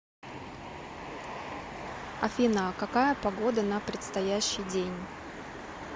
афина какая погода на предстоящий день